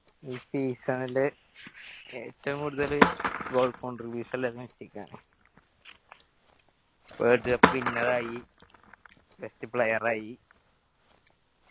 ഈ season ല് ഏറ്റവും കൂടുതല് goal contribution ഇല്ലത് മെസ്സിക്കാണ് world cup winner ആയി best player ആയി.